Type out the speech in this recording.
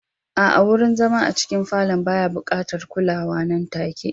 A'a, wurin zama a cikin falon baya buƙatar kulawa nan take.